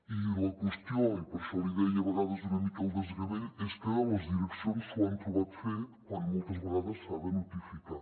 i la qüestió i per això li deia a vegades una mica el desgavell és que les direccions s’ho han trobat fet quan moltes vegades s’ha de notificar